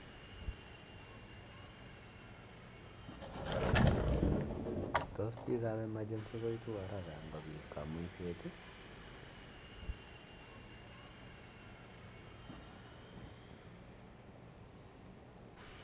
Tos piik ab emergency koitu haraka ngopit kamuiset